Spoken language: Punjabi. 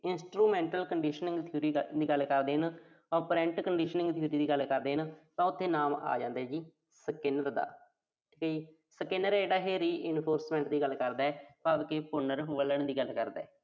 Instrimental Conditioning theory ਦੀ ਗੱਲ ਕਰਦੇ ਆਂ। Operant Conditioning theory ਦੀ ਗੱਲ ਕਰਦੇ ਆਂ, ਤਾਂ ਉਥੇ ਨਾਮ ਆ ਜਾਂਦਾ ਜੀ। Skinner ਦਾ ਠੀਕ ਐ ਜੀ। Skinner ਜਿਹੜਾ ਇਹੇ reinforcement ਦੀ ਗੱਲ ਕਰਦੈ, ਭਾਵ ਕਿ ਪੁਨਰ ਦੀ ਗੱਲ ਕਰਦੈ।